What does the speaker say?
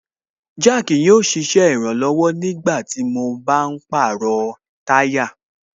Jack yóò ṣe ìrànlọ̀wọ̀ nígbàtí mo bá ń pàrọ̀ táyà